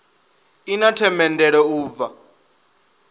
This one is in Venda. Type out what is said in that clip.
i na themendelo u bva